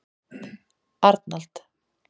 Arnald